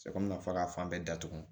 Sɛ komi fɔra ka fan bɛɛ datugu